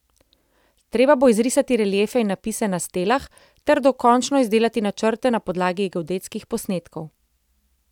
Treba bo izrisati reliefe in napise na stelah ter dokončno izdelati načrte na podlagi geodetskih posnetkov.